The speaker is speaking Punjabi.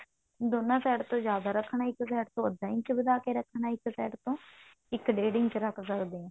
ਦੋਨਾ side ਤੋਂ ਜਿਆਦਾ ਰੱਖਣਾ ਇੱਕ side ਤੋਂ ਅੱਧਾ ਇੰਚ ਵਧਾ ਕੇ ਰੱਖਣਾ ਇੱਕ side ਤੋਂ ਇੱਕ ਡੇਢ ਇੰਚ ਰੱਖ ਸਕਦੇ ਹਾਂ